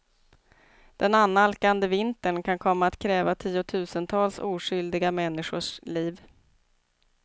Den annalkande vintern kan komma att kräva tiotusentals oskyldiga människors liv.